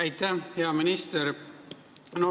Aitäh, hea minister!